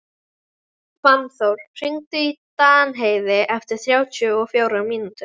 Fannþór, hringdu í Danheiði eftir þrjátíu og fjórar mínútur.